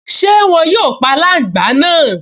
Ṣé wọn yóò pa aláǹgbá náà?